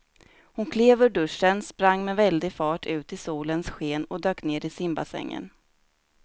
Hon klev ur duschen, sprang med väldig fart ut i solens sken och dök ner i simbassängen.